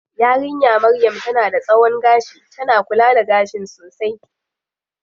Yarinya maryam tana da tsawon gashi, tana kula da gashin sosai.